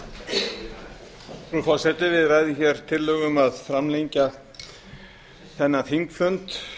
frú forseti við ræðum hér tillögu um að framlengja þennan þingfund